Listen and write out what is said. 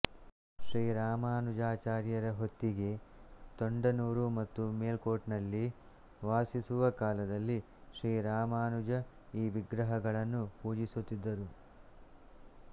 ಶ್ರೀ ರಾಮನುಜಾಚಾರ್ಯರ ಹೊತ್ತಿಗೆ ತೊಂಡನೂರು ಮತ್ತು ಮೆಲುಕೋಟ್ನಲ್ಲಿ ವಾಸಿಸುವ ಕಾಲದಲ್ಲಿ ಶ್ರೀ ರಾಮನುಜ ಈ ವಿಗ್ರಹಗಳನ್ನು ಪೂಜಿಸುತ್ತಿದ್ದರು